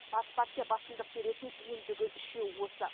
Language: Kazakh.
бас партия басымдық беретін ендігі үшеу осы